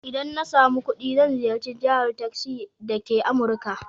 Idan na samu kuɗi zai ziyarci Jahar Texas dake Amurika.